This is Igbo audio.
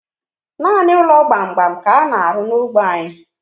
Nanị ụlọ gbam gbam ka ana arụ n'ógbè anyi